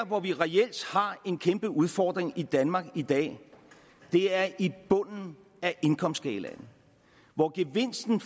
hvor vi reelt har en kæmpe udfordring i danmark i dag er i bunden af indkomstskalaen hvor gevinsten